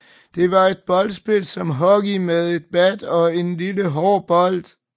Det var et boldspil som hockey med et bat og en lille hård bold